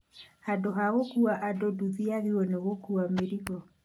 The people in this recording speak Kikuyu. handũ hagũkuua andũ nduthi yagĩrĩirwo gũkuua mĩrigo